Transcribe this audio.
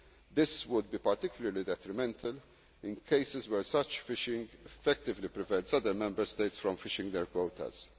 or has a small quota. This would be particularly detrimental in cases where such fishing effectively prevents other Member States from